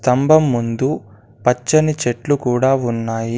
స్తంభం ముందు పచ్చని చెట్లు కూడా ఉన్నాయి.